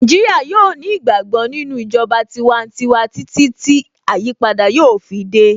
Naijiria yóò ní ìgbàgbọ́ nínú ìjọba tiwantiwa títí tí àyípadà yóò fi dé